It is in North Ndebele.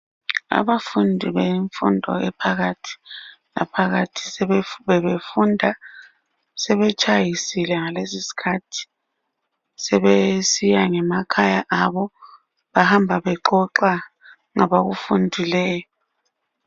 Abafundi bemfundo ephakathi laphakathi bebefunda. Sebetshayisile ngalesi isikhathi. Sebesiya ngemakhaya abo bahamba bexoxa ngabakufundileyo.